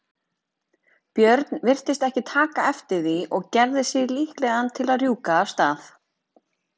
björn virtist ekki taka eftir því og gerði sig líklegan til að rjúka af stað.